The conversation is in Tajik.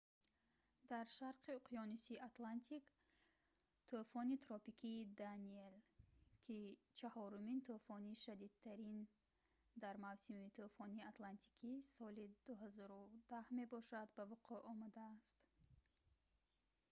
дар шарқи уқёнуси атлантик тӯфони тропикии «даниэл» ки чаҳорумин тӯфони шадидтарин дар мавсими тӯфони атлантики соли 2010 мебошад ба вуқӯъ омадааст